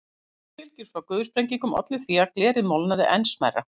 Höggbylgjur frá gufusprengingum ollu því að glerið molnaði enn smærra.